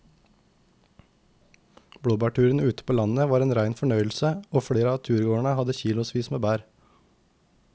Blåbærturen ute på landet var en rein fornøyelse og flere av turgåerene hadde kilosvis med bær.